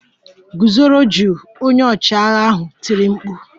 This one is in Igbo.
Gụzoro jụụ! Onye ọchịagha ahụ tiri mkpu